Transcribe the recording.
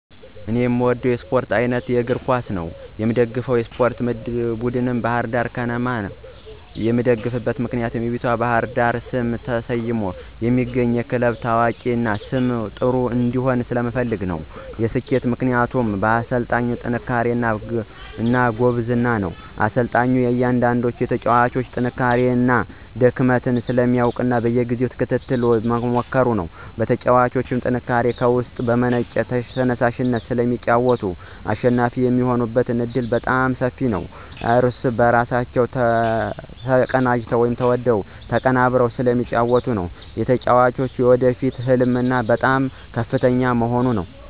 እኔ የምወደው የስፓርት አይነት የእግር ኳስ ነው። የምደግፈውም የስፓርት ቡድን ባህር ዳር ከነማ ክለብን ነው። የምደግፍበት ምክንያት በውቢቷ ባህር ዳር ስም ተሰይሞ የሚገኘው ይህ ክለብ ታዋቂ እና ሰመ ጥር እንዲሆን ስለምፈልግ ነው። የሰኬቱ ምክንያቶች ፩) በአሰልጣኙ ጥንክርና እና ጉብዝና፦ አሰልጣኙ የእያንዳንዳቸውን የተጫዋጮች ጥንካሬ እና ድክመት ስለሚያውቅ በየጊዜው ተከታትሎ በመምከር። ፪) በተጫዋቾቹ ጥንካሬ፦ ከውስጥ በመነጨ ተየሳሽነት ስለሚጫወቱ አሸናፊ የሚሆኑበት ዕድል በጣም ሰፊ ነው። ፫) እርስ በእርሳቸው ተናበው እና ተቀነበብረው ስለሚጫወቱ። ፬) የተጫዋጮች የወደፊት ህልማቸው በጣም ከፍተኛ በመሆኑ።